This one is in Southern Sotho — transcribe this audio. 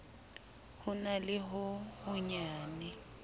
ho na le ho honyane